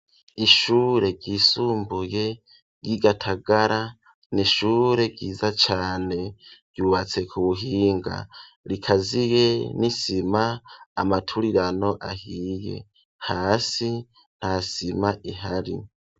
Ishure ryisumbuye ryi Gatagara n'ishure ryiza cane ryubatse ku buhinga rikaziye n'isima amaturirano ahiye hasi ntasima ihari.